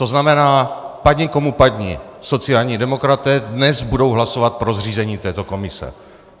To znamená, padni komu padni, sociální demokraté dnes budou hlasovat pro zřízení této komise.